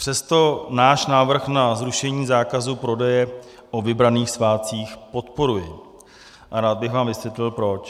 Přesto náš návrh na zrušení zákazu prodeje o vybraných svátcích podporuji a rád bych vám vysvětlil proč.